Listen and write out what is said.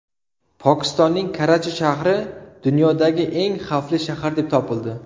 Pokistonning Karachi shahri dunyodagi eng xavfli shahar deb topildi.